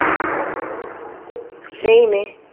same A